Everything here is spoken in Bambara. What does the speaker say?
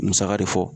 Musaka de fɔ